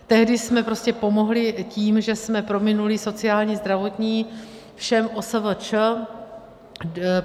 Tehdy jsme prostě pomohli tím, že jsme prominuli sociální, zdravotní všem OSVČ.